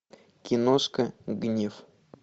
киношка гнев